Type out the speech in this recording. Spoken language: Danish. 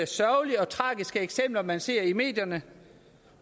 sørgelige og tragiske eksempler man ser i medierne